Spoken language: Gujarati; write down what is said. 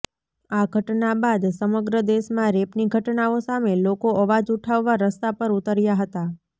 આ ઘટના બાદ સમગ્ર દેશમાં રેપની ઘટનાઓ સામે લોકો અવાજ ઉઠાવવા રસ્તા પર ઉતર્યા હતા